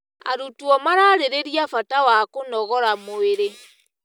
Arutwo mararĩrĩria bata wa kũnogora mwĩrĩ.